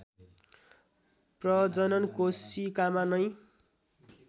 प्रजनन कोशिकामा नै